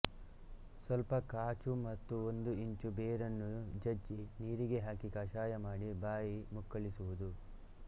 ಸ್ವಲ್ಪ ಕಾಚು ಮತ್ತು ಒಂದು ಇಂಚು ಬೇರನ್ನು ಜಜ್ಜಿ ನೀರಿಗೆ ಹಾಕಿ ಕಷಾಯ ಮಾಡಿ ಬಾಯಿ ಮುಕ್ಕಳಿಸುವುದು